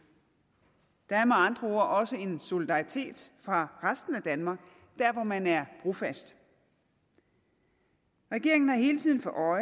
der er med andre ord også en solidaritet fra resten af danmark dér hvor man er brofast regeringen har hele tiden for